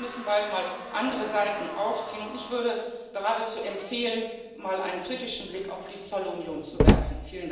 Ich glaube, wir müssen bald mal andere Saiten aufziehen, und ich würde geradezu empfehlen, mal einen kritischen Blick auf die Zollunion zu werfen.